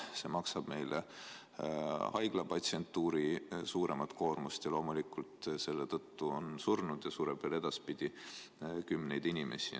See tähendab meile haiglate patsientuuri osas suuremat koormust ja selle tõttu on ka surnud ja sureb veel edaspidi kümneid inimesi.